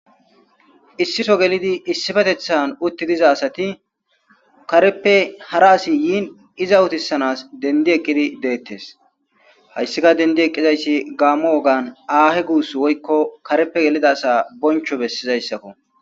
Issiso gelidi issifetethan utti diza asati kareppe hara asi yiin iza utissanas dendi ekkidi deettes hayssika dendi eqqizaysi gaammo wogan aahe guus woykko karepe gelida asa boncho bessizayssakko.